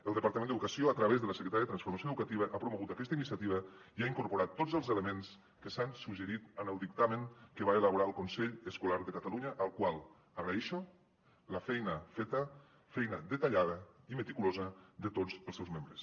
el departament d’educació a través de la secretaria de transformació educativa ha promogut aquesta iniciativa i hi ha incorporat tots els elements que s’han suggerit en el dictamen que va elaborar el consell escolar de catalunya al qual agraeixo la feina feta feina detallada i meticulosa de tots els seus membres